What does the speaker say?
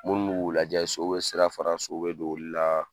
Munnu b'u k'u lajɛ so be sira faran so be don olu la